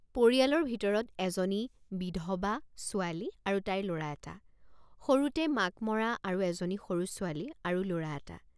পৰিয়ালৰ ভিতৰত এজনী বিধবা ছোৱালী আৰু তাইৰ লৰা এটা সৰুতে মাক মৰা আৰু এজনী সৰু ছোৱালী আৰু লৰা এটা ।